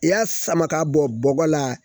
I y'a sama ka bɔ bɔgɔ la